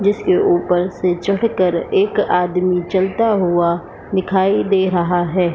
जिसके ऊपर से चढ़कर एक आदमी चलता हुआ दिखाई दे रहा है।